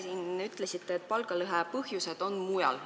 Te ütlesite, et palgalõhe põhjused on mujal.